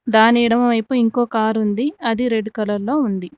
దాని ఎడమ వైపు ఇంకో కారు ఉంది అది రెడ్ కలర్ లో ఉంది.